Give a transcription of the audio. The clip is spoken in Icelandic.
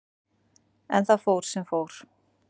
En það fór sem fór.